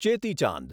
ચેતી ચાંદ